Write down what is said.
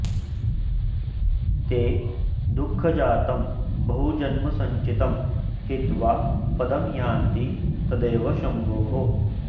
ते दुःखजातं बहुजन्मसञ्चितं हित्वा पदं यान्ति तदेव शम्भोः